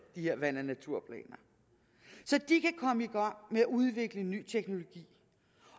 de her vand og naturplaner så de kan komme i gang med at udvikle ny teknologi